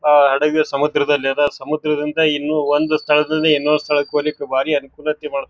ಅಹ್ ಹಡಗ್ ಸಮುದ್ರದಲ್ಲಿ ಅದ್. ಸಮುದ್ರದಿಂದ ಇನ್ನು ಒಂದ್ ಸ್ಥಳದಲ್ಲಿ ಇನೊಂದ ಸ್ಥಳಕ್ಕ ಹೊಲಿಕ್ ಬಾರಿ ಅನುಕೂಲತೆ ಮಾಡ--